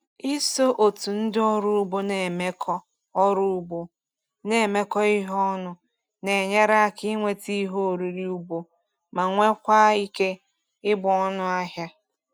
Iso otu ndị ọrụ ugbo na-emekọ ọrụ ugbo na-emekọ ihe ọnụ na-enyere aka ịnweta ihe oriri ugbo ma nwekwaa ike ịgba ọnụahịa.